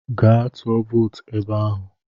Gaa tụọ vootu ebe ahụ!